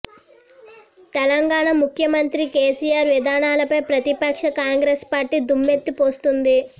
తెలంగాణ ముఖ్యమంత్రి కేసీఆర్ విధానాలపై ప్రతిపక్ష కాంగ్రెస్ పార్టీ దుమ్మెత్తి పోస్తోంది